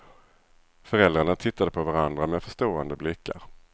Föräldrarna tittade på varandra med förstående blickar.